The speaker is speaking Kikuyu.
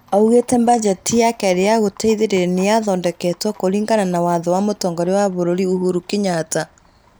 oigire atĩ bajeti ya kerĩ ya gũteithĩrĩria nĩ yathondeketwo kũringana na watho wa mũtongoria wa bũrũri Uhuru Kenyatta.